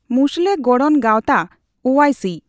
ᱢᱩᱥᱞᱟᱹ ᱜᱚᱲᱬᱚ ᱜᱟᱣᱛᱟ ᱳᱟᱭᱥᱤ